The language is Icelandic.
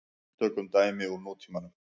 Tökum dæmi úr nútímanum.